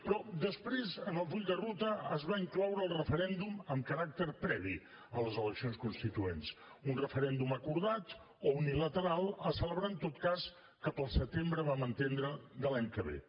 però després en el full de ruta es va incloure el referèndum amb caràcter previ a les eleccions constituents un referèndum acordat o unilateral a celebrar en tot cas cap al setembre vam entendre de l’any que ve